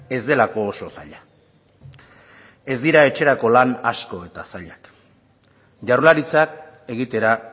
ez delako oso zaila ez dira etxerako lan asko eta zailak jaurlaritzak egitera